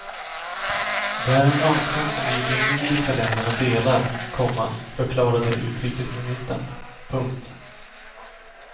Det är en önskan som vi i de nordiska länderna delar, komma förklarade utrikesministern. punkt